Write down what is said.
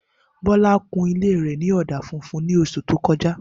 Bola kun ilé rè ní ọ̀dà funfun ní oṣù tí o kọjá